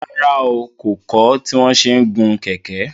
Rárá o, kò kọ́ tí wọn ṣe ń gun kẹ̀kẹ́